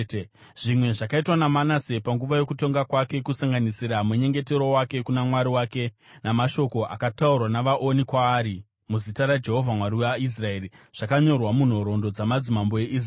Zvimwe zvakaitwa naManase panguva yokutonga kwake, kusanganisira munyengetero wake kuna Mwari wake, namashoko akataurwa navaoni kwaari muzita raJehovha Mwari waIsraeri, zvakanyorwa munhoroondo dzamadzimambo eIsraeri.